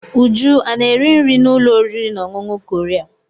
Uju ana-eri nri n'ụlọ oriri na ọṅụṅụ Korea?